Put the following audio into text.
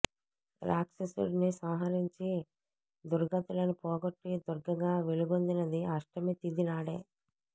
రాక్షసుడిని సంహరించి దుర్గతులను పోగొట్టి దుర్గగా వెలుగొందినది అష్టమి తిథి నాడే